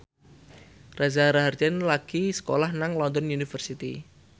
Reza Rahardian lagi sekolah nang London University